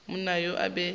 monna yo o be a